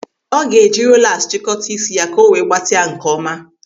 Ọ ga-eji rolas chịkọta isi ya ka o nwee gbatịa nkeọma.